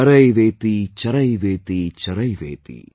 Charaiveti Charaiveti Charaiveti |